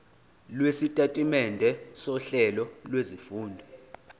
lwesitatimende sohlelo lwezifundo